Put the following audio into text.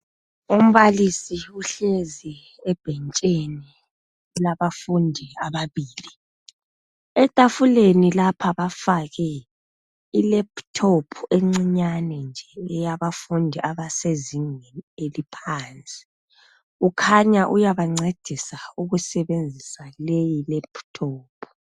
Umbalisi uhlezi ebhentshini labafundi ababili, etafuleni lapha bafake iLaptop encinyane nje eyabafundi abasezingeni eliphansi. Kukhanya uyabencedisa ukusebenzisa leyi Laptop.